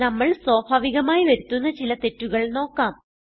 നമ്മൾ സ്വാഭാവികമായി വരുത്തുന്ന ചില തെറ്റുകൾ നോക്കാം